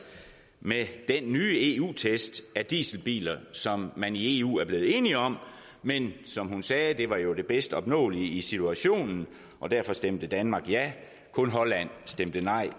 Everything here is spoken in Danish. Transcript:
med de nye eu test af dieselbiler som man i eu er blevet enige om men som hun sagde var det jo det bedst opnåelige i situationen og derfor stemte danmark ja kun holland stemte nej